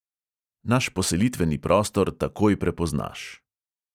Naš poselitveni prostor takoj prepoznaš.